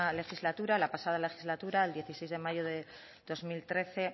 legislatura la pasada legislatura el dieciséis de mayo del dos mil trece